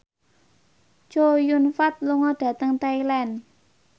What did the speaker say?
Chow Yun Fat lunga dhateng Thailand